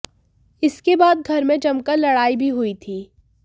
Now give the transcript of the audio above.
इसके बाद घर में जमकर लड़ाई भी हुई थी